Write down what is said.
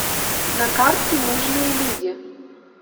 на карте нужные люди